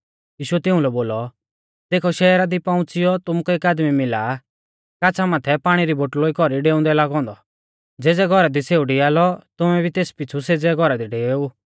यीशुऐ तिउंलै बोलौ देखौ शहरा दी पौउंच़िऔ तुमुकै एक आदमी मिला काछ़ा माथै पाणी री बोटलोई कौरी डेउंदै लागौ औन्दौ ज़ेज़ै घौरा दी सेऊ डिआलौ तुमै भी तेस पिछ़ु सेज़ै घौरा दी डेवेऊ